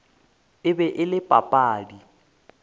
e be e le papadi